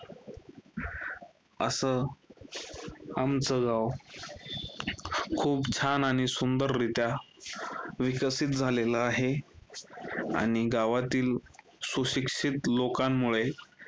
असं आमचं गाव खूप छान आणि सुंदररित्या विकसित झालेलं आहे, आणि गावातील सुशिक्षित लोकांमुळे